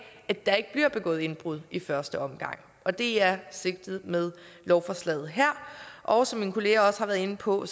at der ikke bliver begået indbrud i første omgang og det er sigtet med lovforslaget her og som mine kolleger har været inde på er